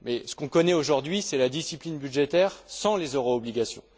Mais ce qu'on connaît aujourd'hui, c'est la discipline budgétaire sans les euro obligations.